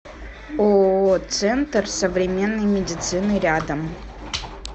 ооо центр современной медицины рядом